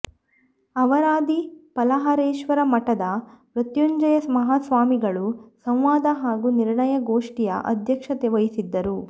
ಅವರಾದಿ ಫಲಹಾರೇಶ್ವರಮಠದ ಮೃತ್ಯುಂಜಯ ಮಹಾಸ್ವಾಮಿಗಳು ಸಂವಾದ ಹಾಗೂ ನಿರ್ಣಯ ಗೋಷ್ಠಿಯ ಅಧ್ಯಕ್ಷತೆವಹಿಸಿದ್ದರು